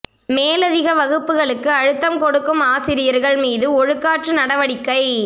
மேலதிக வகுப்புகளுக்கு அழுத்தம் கொடுக்கும் ஆசிரியர்கள் மீது ஒழுக்காற்று நடவடிக்கை